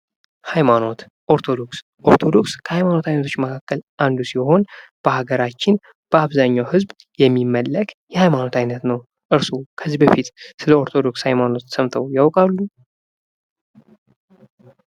ሐይማኖት፦ ኦርቶዶክስ፦ ኦርቶዶክስ ከሐይማኖት አይነቶች መካከል አንዱ ሲሆን በሀገራችን በአብዛኛው ህዝብ የሚመለክ የሐይማኖት አይነት ነው። እርስዎ ከዚህ በፊት ስለ ኦርቶዶክስ ሐይማኖት ሰምተው ያውቃሉ?